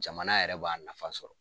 Jamana yɛrɛ b'a nafa sɔrɔ